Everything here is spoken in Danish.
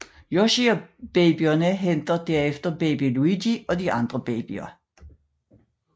Yoshi og babyerne henter derefter baby Luigi og de andre babyer